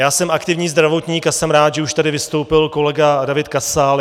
Já jsem aktivní zdravotník a jsem rád, že už tady vystoupil kolega David Kasal.